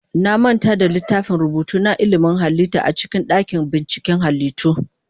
Na manta da littafin rubutu na ilimin halitta a cikin dakin binciken halittu.